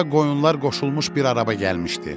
Bura qoyunlar qoşulmuş bir araba gəlmişdi.